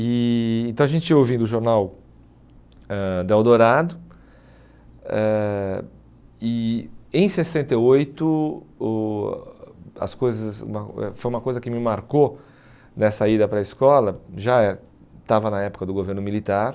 E então, a gente ia ouvindo o jornal eh do Eldorado ãh e, em sessenta e oito, o as coisas foi uma coisa que me marcou nessa ida para a escola, já é estava na época do governo militar,